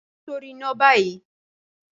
fi sori ina bayi!